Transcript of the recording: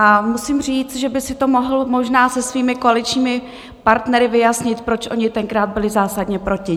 A musím říct, že by si to mohl možná se svými koaličními partnery vyjasnit, proč oni tenkrát byli zásadně proti.